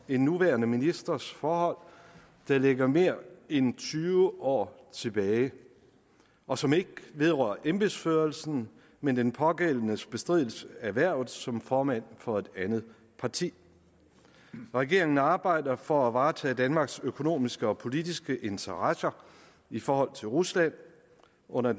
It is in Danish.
en nuværende ministers forhold der ligger mere end tyve år tilbage og som ikke vedrører embedsførelsen men den pågældendes bestridelse af hvervet som formand for det andet parti regeringen arbejder for at varetage danmarks økonomiske og politiske interesser i forhold til rusland under